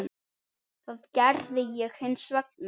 Það gerði ég hins vegar.